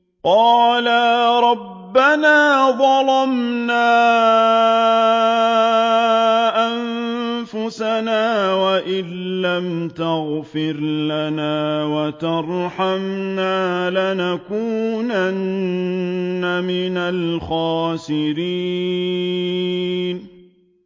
قَالَا رَبَّنَا ظَلَمْنَا أَنفُسَنَا وَإِن لَّمْ تَغْفِرْ لَنَا وَتَرْحَمْنَا لَنَكُونَنَّ مِنَ الْخَاسِرِينَ